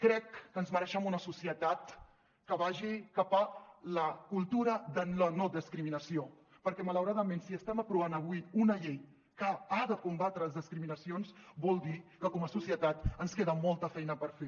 crec que ens mereixem una societat que vagi cap a la cultura de la no discriminació perquè malauradament si estem aprovant avui una llei que ha de combatre les discriminacions vol dir que com a societat ens queda molta feina per fer